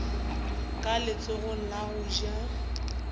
ka letsogong la go ja